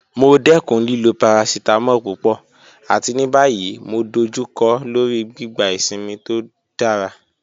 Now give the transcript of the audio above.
Mo dẹkun lilo paracetamol pupọ̀, àti ní báyìí mo dọ̀jùkọ́ lọ́rí gbígbà ìṣínmi tó dára